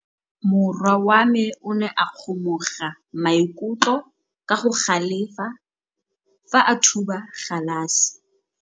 Morwa wa me o ne a kgomoga maikutlo ka go galefa fa a thuba galase.